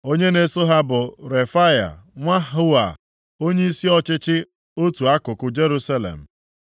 Onye na-eso ha bụ Refaya nwa Hua onyeisi ọchịchị otu akụkụ Jerusalem.